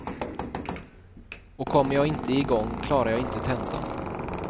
Och kommer jag inte igång, klarar jag inte tentan.